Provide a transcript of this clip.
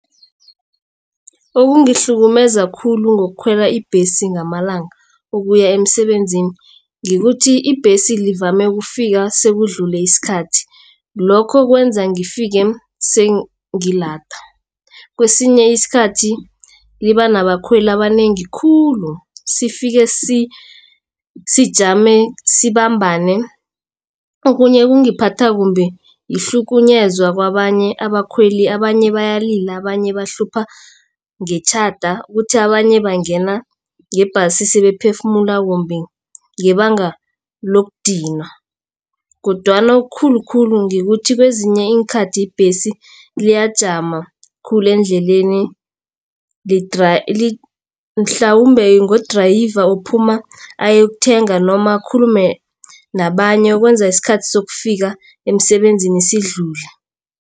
Okungihlukumeza khulu ngokukhwela ibhesi ngamalanga ukuya emsebenzini. Kukuthi ibhesi ivame ukufika sekudlule isikhathi. Lokho kwenza ngifike sengilada. Kwesinye isikhathi liba nabakhweli abanengi khulu sifike sijame sibambane. Okunye okungiphatha kumbi kuhlukunyezwa kwabanye abakhweli abanye bayalila abanye bahlupha ngetjhada kuthi abanye bangena ngebhasi sebaphefumula kumbi ngebanga lokudinwa. Kodwana okukhulukhulu ngokuthi kwezinye iinkhathi ibhesi iyajama khulu endleleni mhlawumbe ngo-drayive ophuma ayekuthenga noma akhulume nabanye ukwenza isikhathi sokufika emsebenzini sidlule.